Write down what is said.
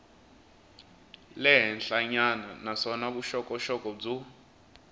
le henhlanyana naswona vuxokoxoko byo